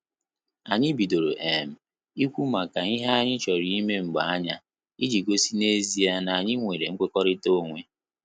Anyị bidoro um ikwu maka ihe anyị chọrọ ime mgbe anya, iji gosi na ezia na anyị nwere nkwekọrịta onwe